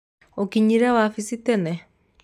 ũkinyire wabici tene?